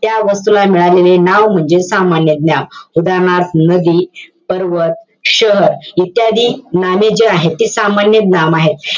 त्या वस्तूला मिळालेले नाव म्हणजे सामान्य नाम. उदाहरणार्थ, नदी, पर्वत, शहर इत्यादी नामे जे आहेत, ते सामान्य नाम आहे.